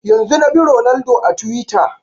Yanzun na bi Ronaldo a twitter